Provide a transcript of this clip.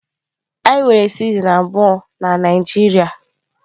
Anyi nwere sizen abuọ na Naijiria.